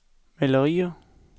malerier